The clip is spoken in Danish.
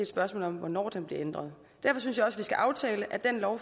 spørgsmål om hvornår den bliver ændret derfor synes jeg også at vi skal aftale at den lov